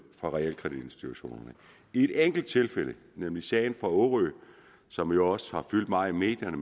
fra realkreditinstitutionerne i et enkelt tilfælde nemlig sagen fra årø som jo også har fyldt meget i medierne